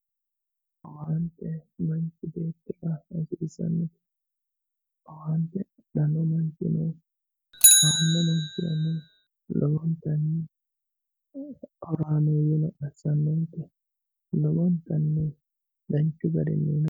owaante manchi beettira hasiissanno owaante aanno manchirano adhanno manchirano lowontanni horaameeyyeno assitannote lowontanni danchu garinnino.